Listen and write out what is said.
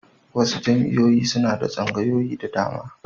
Wasu jami'oin suna da tsangaoyi da dama.